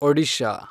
Odisha